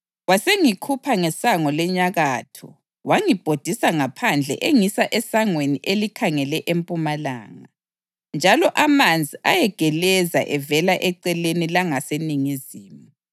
Wasengikhupha ngesango lenyakatho wangibhodisa ngaphandle engisa esangweni elikhangele empumalanga, njalo amanzi ayegeleza evela eceleni langaseningizimu.